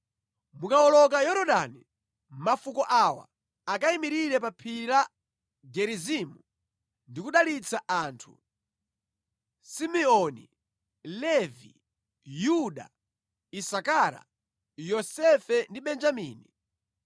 Mukawoloka Yorodani, mafuko awa akayimirire pa Phiri la Gerizimu ndi kudalitsa anthu: Simeoni, Levi, Yuda, Isakara, Yosefe ndi Benjamini.